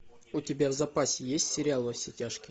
у тебя в запасе есть сериал во все тяжкие